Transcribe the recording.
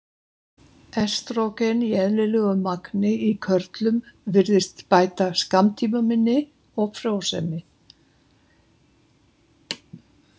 Estrógen í eðlilegu magni í körlum virðist bæta skammtímaminni og frjósemi.